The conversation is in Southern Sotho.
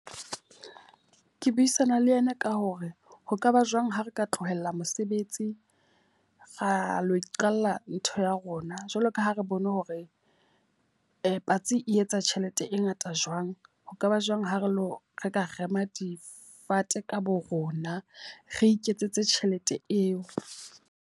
Ke buisana le ena ka hore ho kaba jwang ha re ka tlohela mosebetsi ra lo iqalla ntho ya rona. Jwalo ka ha re bone hore patsi e etsa tjhelete e ngata jwang. Ho kaba jwang ha re lo re ka rema difate ka bo rona, re iketsetse tjhelete eo.